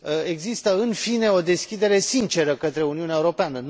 există în fine o deschidere sinceră către Uniunea Europeană.